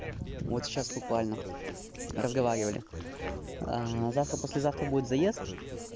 вот сейчас буквально разговаривали завтра послезавтра будет заезд